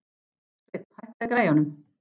Sveinn, hækkaðu í græjunum.